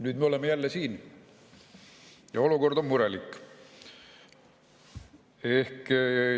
Nüüd me oleme jälle siin ja olukord on murelik.